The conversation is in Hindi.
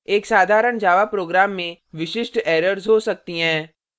एक साधारण java program में विशिष्ट errors हो सकती हैं